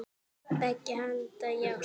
Beggja handa járn.